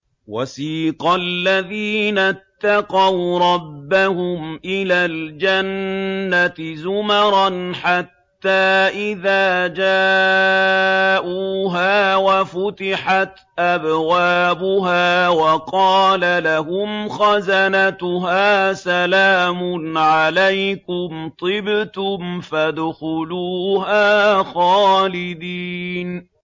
وَسِيقَ الَّذِينَ اتَّقَوْا رَبَّهُمْ إِلَى الْجَنَّةِ زُمَرًا ۖ حَتَّىٰ إِذَا جَاءُوهَا وَفُتِحَتْ أَبْوَابُهَا وَقَالَ لَهُمْ خَزَنَتُهَا سَلَامٌ عَلَيْكُمْ طِبْتُمْ فَادْخُلُوهَا خَالِدِينَ